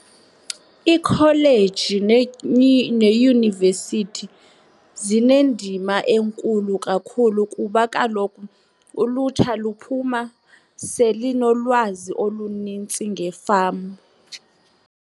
Ikholeji neyunivesithi zinendima enkulu kakhulu kuba kaloku ulutsha luphuma selinolwazi olunintsi nge-farm.